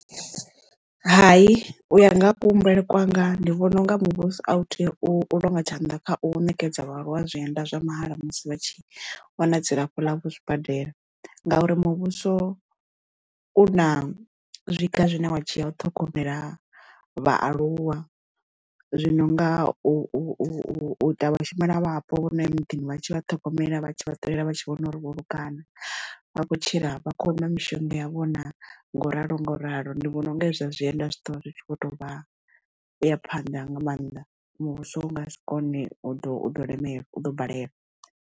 Hai u ya nga kuhumbulele kwanga ndi vhona unga muvhuso a u tea u longa tshanḓa kha u ṋekedza vhaaluwa zwienda zwa mahala musi vha tshi wana dzilafho ḽa vho zwibadela ngauri muvhuso u na zwiga zwine wa dzhiya u ṱhogomela vhaaluwa zwino nga u ita vhashumelavhapo vhono ya muḓini vha tshi vha ṱhogomela vha tshi ṱolela vha tshi vhona uri vho luga na a khou tshila vha khou nwa mishonga yavho na ngo ralo ngo ralo ndi vhona unga hezwo zwa zwienda zwi ḓo vha zwi tshi kho to vha ya phanḓa nga maanḓa muvhuso u nga si kone u ḓo u ḓo lemelwa u ḓo balelwa.